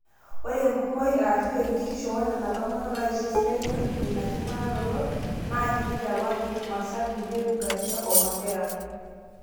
ore enkumoi aashu enkitishu oonena tomonok naaisho esidai netum ina king'uraroto naa kiti te wajir, marsabit, meru garisa o mandera